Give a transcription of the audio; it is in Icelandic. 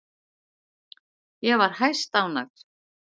Ég var hæstánægð.